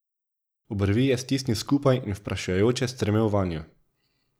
Obrvi je stisnil skupaj in vprašujoče strmel vanjo.